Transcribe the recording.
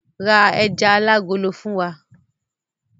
Ra ejà alágolo fún wa!